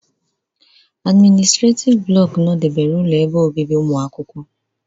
admịnịstretif blọku nọdebere ụlọ ebe obibi ụmụakwụkwọ.